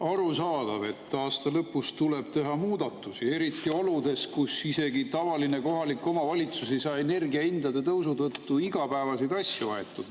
Arusaadav, et aasta lõpus tuleb teha muudatusi, eriti oludes, kus üks tavaline kohalik omavalitsus ei saa energiahindade tõusu tõttu igapäevaseid asju aetud.